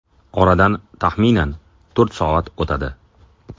Oradan taxminan to‘rt soat o‘tadi.